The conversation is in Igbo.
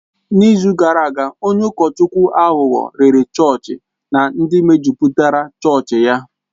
N'izu gara aga, onye ụkọchukwu aghụghọ rèré chọọchị na ndị mejupụtara chọọchị ya.